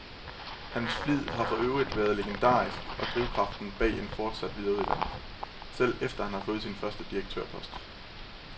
Hans flid har for øvrigt været legendarisk og drivkraften bag en fortsat videreuddannelse, selv efter at han havde fået sin første direktørpost.